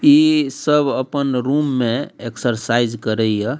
इ सब अपन रूम में एक्सरसाइज करे ये।